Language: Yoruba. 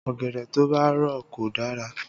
Ọ̀gẹ̀dẹ̀ tó bá rọ̀ kò dára